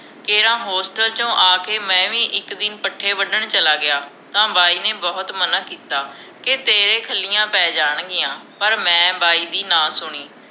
ਤੇ ਹਾਂ ਹੋਸਟਲ ਤੋਂ ਆਕੇ ਮੈਂ ਵੀ ਇਕ ਦਿਨ ਪੱਠੇ ਵਢਣ ਚਲਾ ਗਿਆ ਤਾਂ ਬਾਈ ਨੇ ਬਹੁਤ ਮਨ੍ਹਾ ਕੀਤਾ ਕੇ ਤੇਰੇ ਖਲੀਆਂ ਪੈ ਜਾਣ ਗਿਆਂ ਪਰ ਮੈਂ ਬਾਈ ਦੀ ਨਾ ਸੁਣੀ